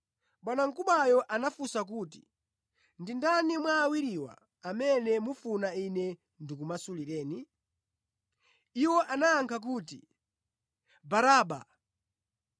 Bwanamkubwayo anafunsa kuti, “Ndi ndani mwa awiriwa amene mufuna ine ndikumasulireni?” Iwo anayankha kuti, “Baraba.”